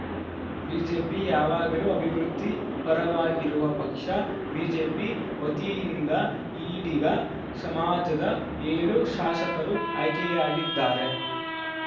BJP ಯಾವಾಗಲೂ ಅಭಿವೃದ್ಧಿ ಪರವಾಗಿರುವ ಪಕ್ಷ ಬಿಜೆಪಿ ವತಿಯಿಂದ ಈಡಿಗ ಸಮಾಜದ ಏಳು ಶಾಸಕರು ಆಯ್ಕೆಯಾಗಿದ್ದಾರೆ